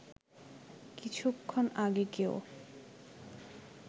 কিছুক্ষণ আগে কেউ